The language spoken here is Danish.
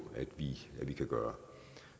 at vi kan gøre